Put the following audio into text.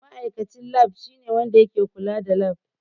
Ma'aikacin Lab shine wanda ke kula da lab.